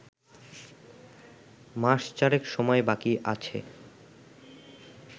মাস চারেক সময় বাকি আছে